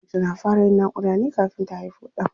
Mace na fara yin naƙuda ne kafin ta haifo ɗan.